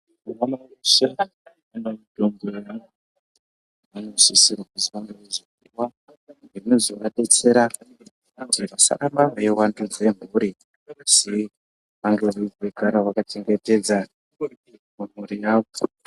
.... Vanosisisrwa kuzi vange veizopuwa zvinozovadetsera kuti vasarambe veiwandudze mhuri kuzi vange veizogara vakachengetedza mhuri yadzo.